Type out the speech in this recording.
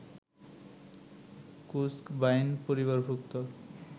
কুস্ক বাইন পরিবারভুক্ত